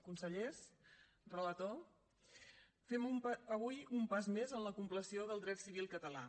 consellers relator fem avui un pas més en la compleció del dret civil català